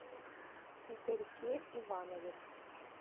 игорьке иванове